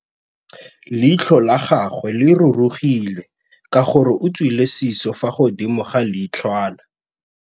Leitlhô la gagwe le rurugile ka gore o tswile sisô fa godimo ga leitlhwana.